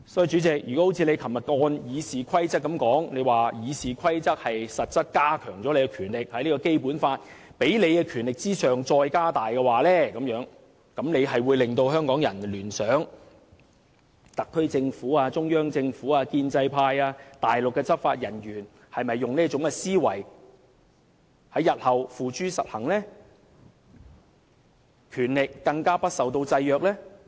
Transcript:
主席，若按照你昨天所說，《議事規則》實質是加強了你的權力，是在《基本法》給予你的權力之上再加大，這便會令香港人聯想到特區政府、中央政府、建制派和內地執法人員會否也使用這種思維，並在日後付諸實行，使其權力更加不受制約呢？